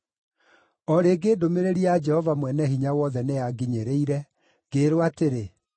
O rĩngĩ ndũmĩrĩri ya Jehova Mwene-Hinya-Wothe nĩyanginyĩrire, ngĩĩrwo atĩrĩ: